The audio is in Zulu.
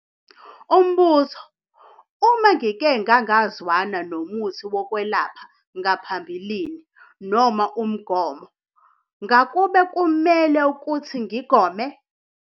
Umbuzo- Uma ngike ngangazwana nomuthi wokwelapha ngaphambilini noma umgomo ngakube kumele ukuthi ngigome?